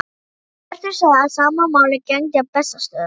Hjörtur sagði að sama máli gegndi á Bessastöðum.